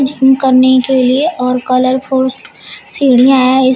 Gym करने के लिए और कलरफुल सीढ़ियां है।